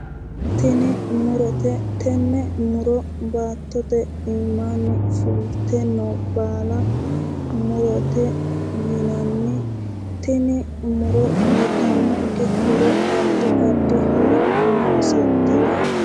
Tini murote tenne muro baattote iimaanni fulte noo baala murote yinanni tini muro uyitannonke horo addi addi horo noosete yaate